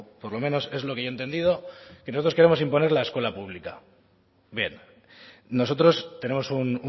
por lo menos es lo que yo he entendido creo que os queremos imponer la escuela pública bien nosotros tenemos un